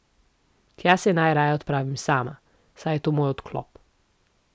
Tja se najraje odpravim sama, saj je to moj odklop.